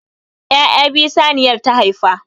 Ya'ya biyu saniyar ta haifa.